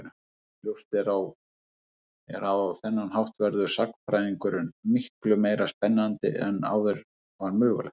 Ljóst er að á þennan hátt verður sagnfræðingurinn miklu meira skapandi en áður var mögulegt.